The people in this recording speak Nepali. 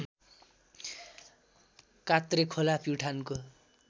कात्रे खोला प्युठानको